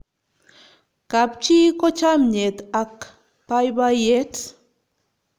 kap chi ko chamiet ak baibaiet